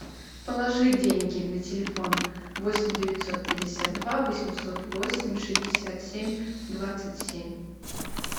положи деньги на телефон восемь девятьсот пятьдесят два восемьсот восемь шестьдесят семь двадцать семь